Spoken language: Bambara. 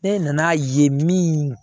Ne nan'a ye min